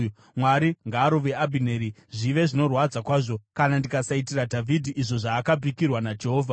Mwari ngaarove Abhineri, zvive zvinorwadza kwazvo, kana ndikasaitira Dhavhidhi izvo zvaakapikirwa naJehovha